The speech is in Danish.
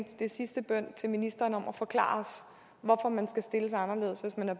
det er sidste bøn til ministeren om at forklare os hvorfor man skal stilles anderledes hvis man